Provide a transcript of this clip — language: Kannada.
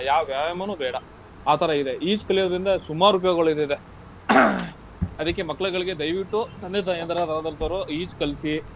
ಯಾವ್ ವ್ಯಾಯಾಮನೂ ಬೇಡ ಆ ತರ ಇದೆ. ಈಜ್ ಕಲಿಯೋದ್ರಿಂದ ಸುಮಾರು ಉಪಯೋಗಗಳಿದೆ. ಅದಿಕ್ಕೆ ಮಕ್ಳ್ಗಳಿಗೆ ದಯ್ವಿಟ್ಟು, ತಂದೆ ತಾಯಂದಿರಾದಂತವರು ಈಜ್ ಕಲ್ಸಿ.